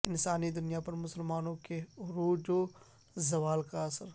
انسانی دنیا پر مسلمانوں کے عروج و زوال کا اثر